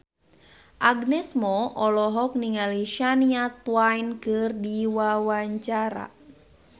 Agnes Mo olohok ningali Shania Twain keur diwawancara